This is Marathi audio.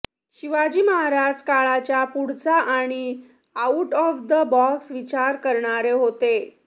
शिवाजी महाराज काळाच्या पुढचा आणि आउट ऑफ द बॉक्स विचार करणारे होते